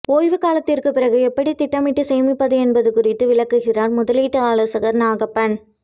ஓய்வு காலத்திற்குப் பிறகு எப்படி திட்டமிட்டு சேமிப்பது என்பது குறித்து விளக்குகிறார் முதலீட்டு ஆலோசகர் நாகப்பன்